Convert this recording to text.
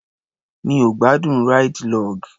Mi ò gbádùn ráìdì log.